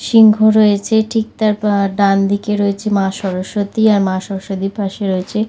সিংহ রয়েছে ঠিক তার পা ডানদিকে রয়েছে মা সরস্বতী আর মা সরস্বতীর পাশে রয়েছে--